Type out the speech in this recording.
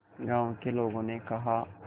गांव के लोगों ने कहा